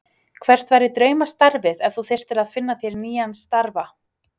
Hvert væri draumastarfið ef þú þyrftir að finna þér nýjan starfa?